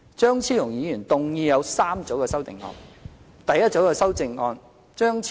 張超雄議員提出共3組修正案。